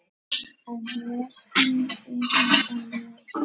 En hvernig er þetta lið?